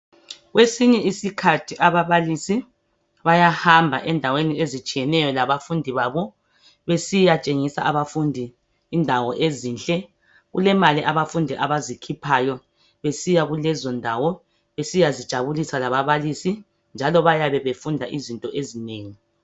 Kwesinye iskhathi ababalisi bayahamba ezindaweni ezitshiyeneyo labafundi babo besiyatshengisa abafundi indawo ezinhle kukemali abafundi abazikhiphayo besiyakulezo ndawo besiya zijabulisa lababalisi njalo bayabe befunda izinto ezinengi